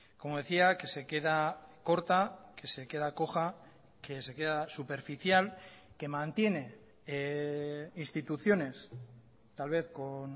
como decía que se queda corta que se queda coja que se queda superficial que mantiene instituciones tal vez con